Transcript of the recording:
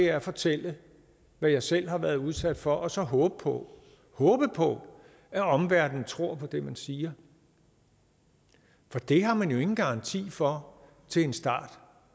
er at fortælle hvad jeg selv har været udsat for og så håbe på håbe på at omverdenen tror på det man siger for det har man jo ingen garanti for til en start